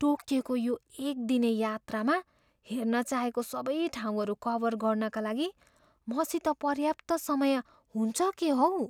टोकियोको यो एक दिने यात्रामा हेर्न चाहेको सबै ठाउँहरू कभर गर्नाका लागि मसित पर्याप्त समय हुन्छ के हौ?